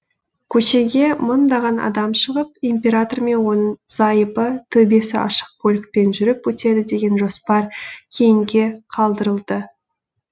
көшеге мыңдаған адам шығып император мен оның зайыбы төбесі ашық көлікпен жүріп өтеді деген жоспар кейінге қалдырылды